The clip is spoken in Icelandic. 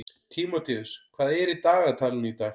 Tímóteus, hvað er í dagatalinu í dag?